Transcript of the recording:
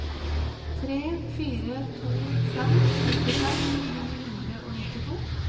tre fire to fem nittifem ni hundre og nittito